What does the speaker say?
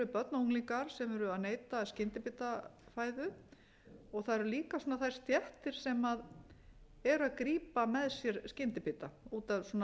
unglingar sem eru að neyta skyndibitafæðu það eru líka þær stéttir sem eru að grípa með sér skyndibita út af svona